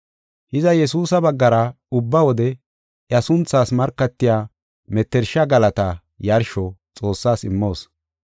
Hiza, Yesuusa baggara ubba wode iya sunthaas markatiya mettersha galata yarsho Xoossaas immoos.